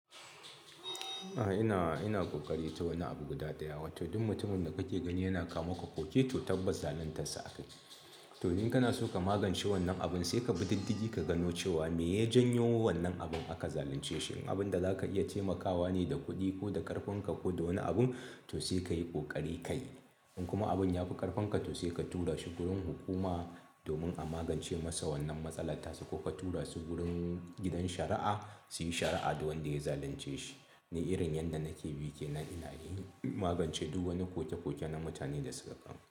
A'a, ina, ina kokari ta wani abu guda ɗaya. Wato duk mutumin da kake gani yana kama ka koke to tabbatas zaluntarsa aka ce to, in kana so ka magance wannan abun sai ka bi diddigi ka gano cewa me ya janyo wannan abun aka zalunce shi. Abin da za ka iya taimakawa ne da kuɗi ko da ƙarfinka ko da wani abun to sai ka yi ƙoƙari ka yi. In kuma abin ya fi ƙarfinka to sai ka tura shi wurin hukuma domin a magance masa wannan matsala tasu ko ka tura su wurin gidan shari'a su yi shari'a da wanda ya zalunce shi. Ni irin yadda nake bi kenan ina yi magance duk wani koke koke na mutane da suka kawo mun.